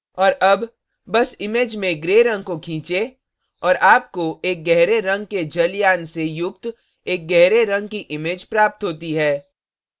और अब बस image में gray रंग को खींचें और आपको एक gray रंग के जलयान से युक्त एक gray रंग की image प्राप्त होती है